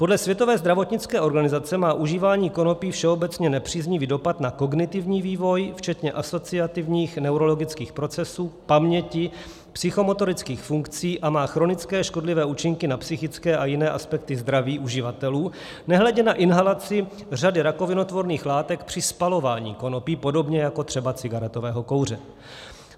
Podle Světové zdravotnické organizace má užívání konopí všeobecně nepříznivý dopad na kognitivní vývoj, včetně asociativních neurologických procesů, paměti, psychomotorických funkcí, a má chronické škodlivé účinky na psychické a jiné aspekty zdraví uživatelů, nehledě na inhalaci řady rakovinotvorných látek při spalování konopí, podobně jako třeba cigaretového kouře.